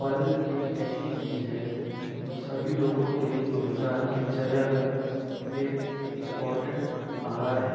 फल एक ऐसी चीज है जो सभी लोगों के रोजाना दिनचर्या का एक इंपोर्टेंट आहार है।